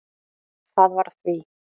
Það var því